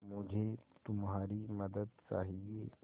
मुझे तुम्हारी मदद चाहिये